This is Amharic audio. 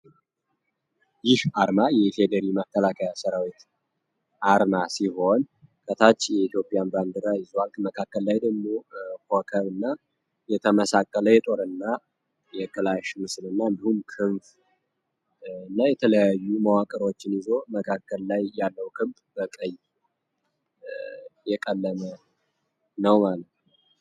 ይህ አርማ የኢፌዴሪ መተላከያ ስራዊት አርማ ሲሆን ከታቺ የኢትዮጵያን በአንድራ ይዙዋልክ መካከል ላይ ደሞ ሆከ እና የተመሳከለ የጦር እና የክላሽኑ ስንና እንደሁም ክንፍ እና የተለያዩ መዋቀሮችን ይዞ መካከል ላይ ያለው ክብ በቀይ የቀለመ ነው።